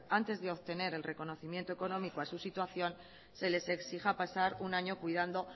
antes de obtener el reconocimiento económico a su situación se les exija pasar un año cuidando